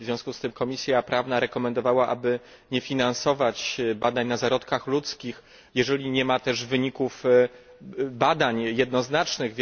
W związku z tym Komisja Prawna rekomendowała, aby nie finansować badań na zarodkach ludzkich, jeżeli nie ma też wyników badań jednoznacznych.